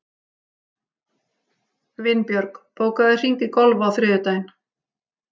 Vinbjörg, bókaðu hring í golf á þriðjudaginn.